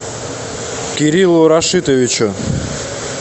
кириллу рашитовичу